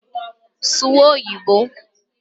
Suwa Oyiboǃ